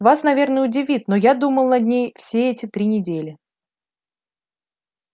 вас наверное удивит но я думал над ней все эти три недели